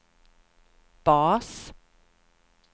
bas